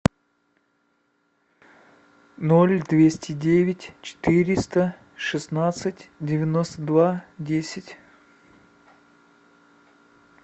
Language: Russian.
ноль двести девять четыреста шестнадцать девяносто два десять